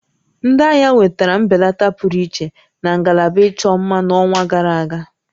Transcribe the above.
Ndị ahịa nwetara mbelata pụrụ iche na ngalaba ịchọ mma n'ọnwa gara aga